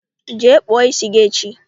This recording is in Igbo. Jee kpụọ isi gị echi!